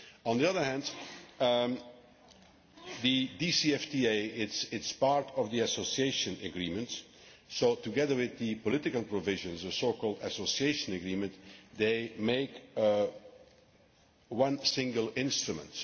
On the other hand, the DCFTA is part of the Association Agreement so, together with the political provisions the so called Association Agreement this makes one single instrument.